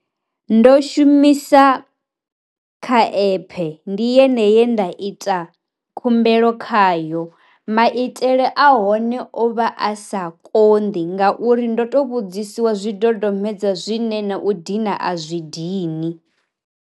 Ndo shumisa kha epe ndi yeneyi ye nda ita khumbelo khayo maitele a hone o vha a sa konḓi ngauri ndo to vhudziwa zwi dodombedzwa zwine na u dina a zwi dini.